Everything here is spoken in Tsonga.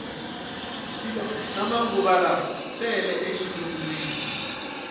swilo swa manguvalawa tele e xilungwini